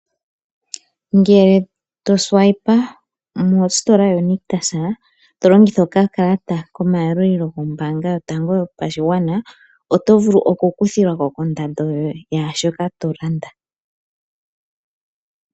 Ngele to swipa mostola yo nictus to longitha okakalata komayalulilo gombaanga yotango yopashigwana oto vulu oku kuthilwako kondando yaashoka to landa.